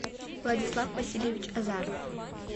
владислав васильевич азаров